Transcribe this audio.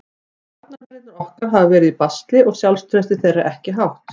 Varnarmennirnir okkar hafa verið í basli og sjálfstraustið þeirra er ekki hátt.